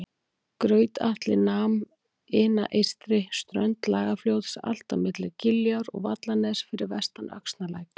Graut-Atli nam ina eystri strönd Lagarfljóts allt á milli Giljár og Vallaness fyrir vestan Öxnalæk